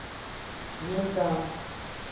медан